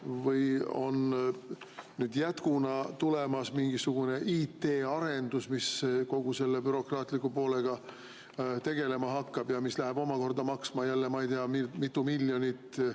Või kas on jätkuna tulemas mingisugune IT‑arendus, mis kogu selle bürokraatliku poolega tegelema hakkab ja mis läheb omakorda maksma jälle ei tea mitu miljonit?